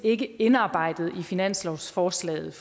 ikke indarbejdet i finanslovsforslaget